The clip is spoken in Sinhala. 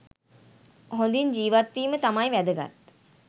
හොඳින් ජීවත්වීම තමයි වැදගත්.